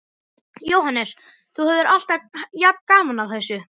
Jóhannes: Þú hefur alltaf jafn gaman að þessu?